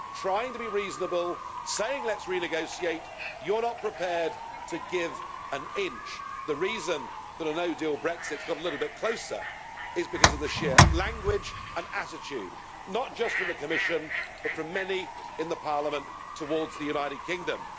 trying to be reasonable, saying let's renegotiate, you're not prepared to give an inch. The reason that a no deal Brexit has got a little bit closer is because of the sheer language and attitude, not just from the Commission, but from many in Parliament towards the United Kingdom.